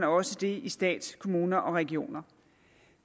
også i stat kommune og regioner